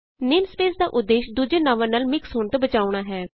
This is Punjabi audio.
ਨੇਮਸਪੇਸ ਦਾ ਉਦੇਸ਼ ਦੁਜੇ ਨਾਵਾਂ ਨਾਲ ਮਿਕਸ ਹੋਣ ਤੋਂ ਬਚਾਉਣਾ ਹੈ